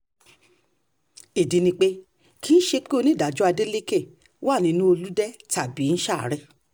ìdí ni pé kì í ṣe pé onídàájọ́ adeleke wà nínú olùde tàbí ó ń ṣàárẹ̀